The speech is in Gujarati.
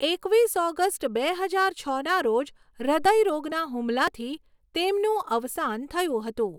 એકવીસ ઓગસ્ટ બે હજાર છના રોજ હૃદય રોગના હુમલાથી તેમનું અવસાન થયું હતું.